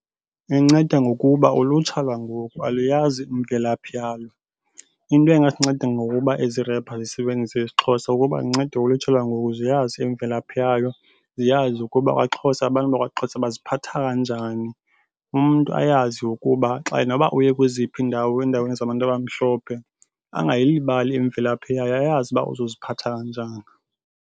Inceda ngokuba ulutsha lwangoku aluyazi imvelaphi yalo. Into engasinceda ngokuba ezi repha zisebenzise isiXhosa kukuba zincede ulutsha lwangoku ziyaza imvelaphi yayo, ziyazi ukuba kwaXhosa abantu bakwaXhosa baziphatha kanjani. Umntu ayazi ukuba xa noba uye kweziphi iindawo endaweni zabantu abamhlophe angayilibali imvelaphi yayo ayazi uba uzoziphatha kanjani.